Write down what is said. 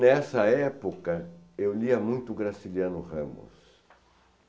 Nessa época, eu lia muito o Graciliano Ramos.